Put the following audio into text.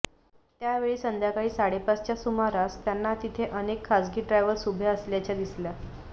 त्यावेळी संध्याकाळी साडेपाचच्या सुमारास त्यांना तिथे अनेक खासगी ट्रॅव्हल्स उभ्या असल्याच्या दिसल्या